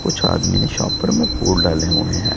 कुछ आदमी ने शॉप पर में फूल डाले हुए हैं।